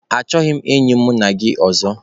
Achọghịzị m enyi mụ na gị ọzọ.